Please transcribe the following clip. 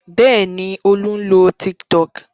Bẹ́ẹ̀ ni, Olú ń lo Tiktok.